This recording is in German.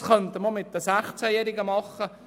Das könnte man auch mit den 16-Jährigen tun.